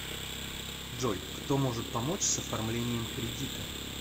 джой кто может помочь с оформлением кредита